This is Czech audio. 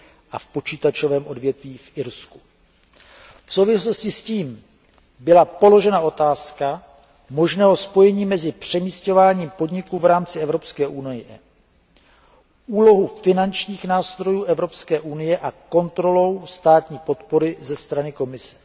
a v počítačovém odvětví v Irsku. V souvislosti s tím byla položena otázka možného spojení mezi přemísťováním podniků v rámci Evropské unie, úlohou finančních nástrojů Evropské unie a kontrolou státní podpory ze strany Komise.